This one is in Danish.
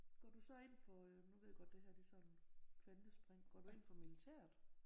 Går du så ind for øh nu ved jeg godt det her det er sådan kvantespring. Går du ind for militæret?